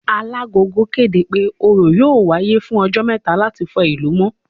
Alagogo kéde pé Òrò yóò wáyé fún ọjọ́ mẹ́ta láti fọ ìlú mọ́